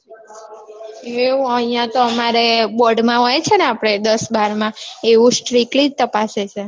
એવું અહિયાં તો અમારે board માં હોય છે ને આપડે દસ બાર માં એવું strictly જ તપાસે છે.